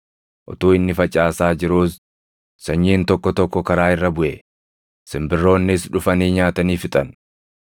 Utuu inni facaasaa jiruus sanyiin tokko tokko karaa irra buʼe; simbirroonnis dhufanii nyaatanii fixan.